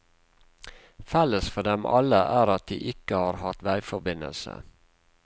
Felles for dem alle er at de ikke har hatt veiforbindelse.